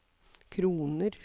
kroner